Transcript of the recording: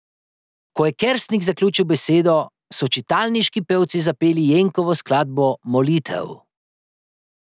Ko je Kersnik zaključil besedo, so čitalniški pevci zapeli Jenkovo skladbo Molitev.